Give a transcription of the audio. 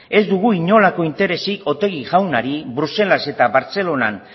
ez dugu inolako interesik otegi jaunari bruselas eta bartzelonan